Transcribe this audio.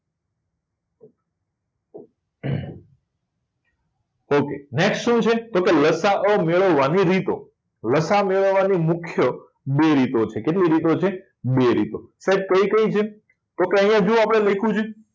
અમ ok next શુ છે કે લસાઅ મેળવવાની રીતો લસાવ મેળવવાની મુખ્ય બે રીતો છે કેટલી રીતે છે બે રીતો sir કઈ કઈ છે તો કે અહીંયા જો લખ્યું છે